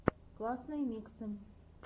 классные миксы